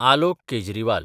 Alok Kejriwal